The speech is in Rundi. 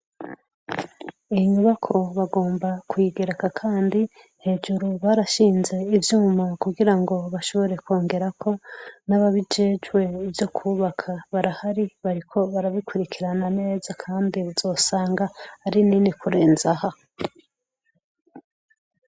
Inyubako bagomba kwigeraka, kandi hejuru barashinze ivyuma kugira ngo bashobore kwongerako n'ababijejwe ivyo kubaka barahari bariko barabikurikirana ameza, kandi uzosanga ari nini kurenzaha.